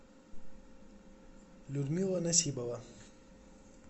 людмила насибова